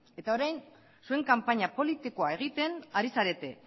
eta orain zuen kanpaina politikoa egiten ari zarete